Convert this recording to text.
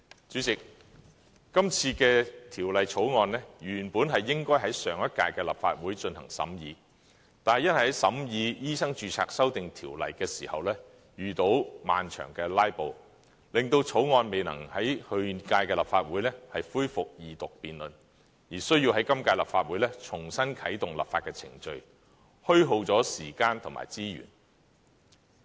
主席，今次的《條例草案》，原本應該在上一屆的立法會進行審議，但因在審議《2016年醫生註冊條例草案》時遇到漫長的"拉布"，令2014年《條例草案》未能在去屆立法會恢復二讀辯論，而需在今屆立法會重新啟動立法程序，虛耗了時間和資源。